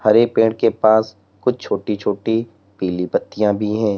हरे पेड़ के पास कुछ छोटी-छोटी पीली पत्तियां भी हैं।